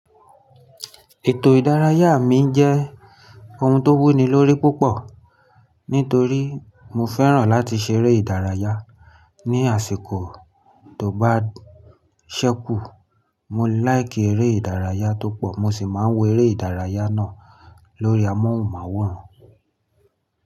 Ètò ìdárayá mi jẹ́ ohun tó wúni lórí púpọ̀ nítorí mo fẹ́ràn láti ṣeré ìdárayá. Ni àsìkò tó bá ṣẹ́kù, mo láìkì eré ìdárayá tó pọ̀. Mo ṣì máa wọ eré ìdárayá náà lórí amóhùnmáwòrán.